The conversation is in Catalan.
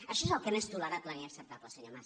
això és el que no és tolerable ni acceptable senyor mas